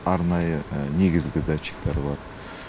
арнайы негізгі датчиктері бар